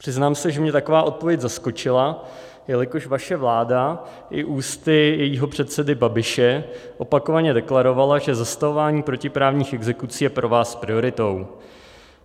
Přiznám se, že mě taková odpověď zaskočila, jelikož vaše vláda i ústy svého předsedy Babiše opakovaně deklarovala, že zastavování protiprávních exekucí je pro vás prioritou.